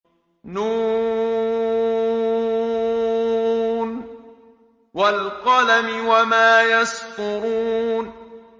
ن ۚ وَالْقَلَمِ وَمَا يَسْطُرُونَ